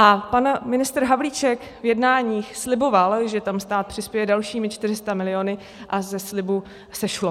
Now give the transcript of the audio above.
A pan ministr Havlíček v jednáních sliboval, že tam stát přispěje dalšími 400 miliony, a ze slibu sešlo.